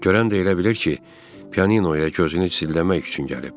Görən də elə bilir ki, pianinoya gözünü zilləmək üçün gəlib.